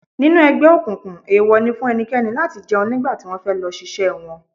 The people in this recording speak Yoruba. Nínú ẹgbẹ́ òkùnkùn, ewo ni fún ẹnikẹ́ni láti jẹun nígbà tí wọ́n fẹ́ lọ ṣiṣẹ́ wọn.